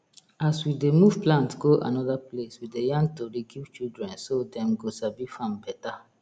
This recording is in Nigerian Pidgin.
as we dey move plant go another place we dey yarn tori give children so dem go sabi farm better